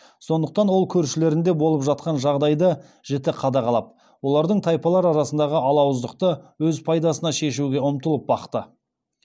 сондықтан ол көршілерінде болып жатқан жағдайды жіті қадағалап олардың тайпалары арасындағы алауыздықты өз пайдасына шешуге ұмтылып бақты